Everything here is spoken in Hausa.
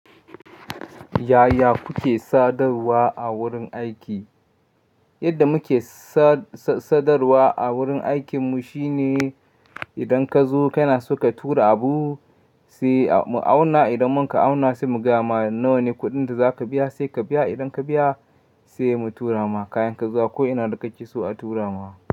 Yaya kuke sadarwa a wurin aiki? Yadda muke sadarwa a wurin aikinmu shine idan ka zo kana so ka tura abu sai mu auna, idan mun ka auna sai mu gama, nawa ne kuɗin da za ka biya sai ka biya. Idan ka biya sai mu tura ma kayan ka zuwa ko ina da kake so a tura ma.